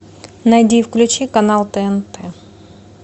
найди и включи канал тнт